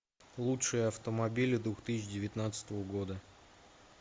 лучшие автомобили двух тысячи девятнадцатого года